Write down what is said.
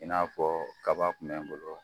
I n'a fɔ kaba tun bɛ n bolo.